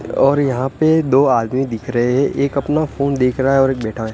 और यहां पे दो आदमी दिख रहे है एक अपना फोन देख रहा है और बैठा है।